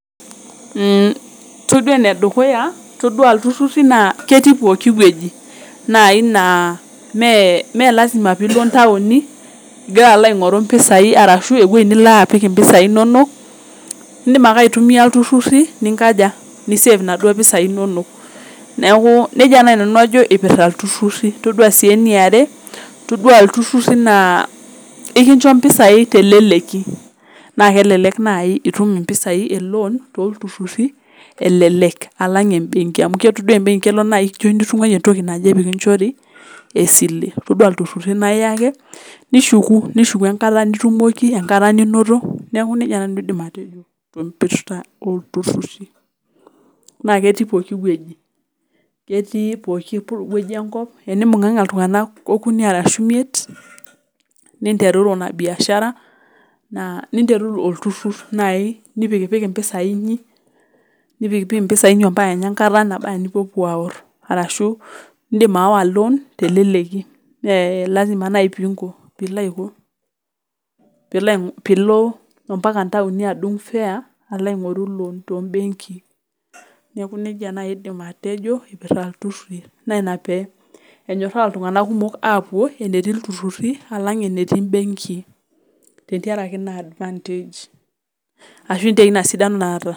Mmh toduaa enedukuya, toduaa ilturruri naa ketii pooki wueji nai naa mee lazima piioo ntaoni igira alo aing'oru mpisai arashu ewuei niloapik impisai inonok indim ake aitumia ilturruri ninkaja? Nisev naduo pisai inonok neaku neija nai nanu ajo eipirta ilturruri. Toduaa sii eniare, toduaa ilturruri naa eikincho mpisai teleleki naakelelek nai itum impisai eloan tolturruri elelek alang' embenki amu keitoduaa embenki elo naaejo tung'uai entoki naje peikinchori esile. Toduaa ilturruri naa iya ake nishuku, nishuku enkata nitumoki enkata ninoto neaku nai nanu aidim atejo tempirta olturruri. Naaketii pooki wueji. Ketii pooki wueji enkop. Tinimbung'ang'a iltung'anak okuni arashu imiet ninteruru ina  biashara naa ninteruru olturrur nai nipikipiki impisai inyi, nipikipiki impisai inyi ompaka kenya enkata nabaya nipuopuo aaworr arashu indim aawa loan teleleki, ehh lazima piinko piiloaiko, piloo ompaka ntaoni adung' fare aloaing'oru loan tombenkii. Neaku neija nai aidim atejo eipirta ilturruri. Naina pee enyorraa iltung'anak kumok aapuo eneitii ilturruri alang' enetii imbenkii tengaraki ina advantage ashu dii ake ina sidano naata.